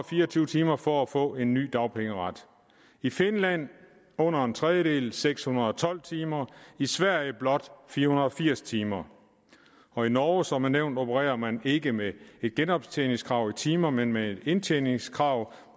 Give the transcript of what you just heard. fire og tyve timer for at få en ny dagpengeret i finland under en tredjedel seks hundrede og tolv timer i sverige blot fire hundrede og firs timer og i norge som er nævnt opererer man ikke med et genoptjeningskrav i timer men med et indtjeningskrav